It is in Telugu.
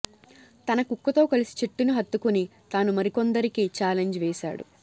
తన కుక్కతో కలసి చెట్టుని హత్తుకొని తానూ మరికొందరికి ఛాలెంజ్ వేశాడు